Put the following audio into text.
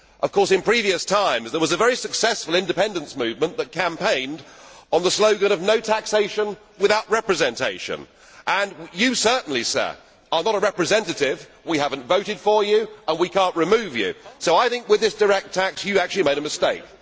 Of course, in previous times, there was a very successful independence movement that campaigned on the slogan of no taxation without representation' and you certainly are not a representative. We have not voted for you and we cannot remove you, so I think with this direct tax, you have actually made a mistake.